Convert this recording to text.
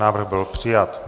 Návrh byl přijat.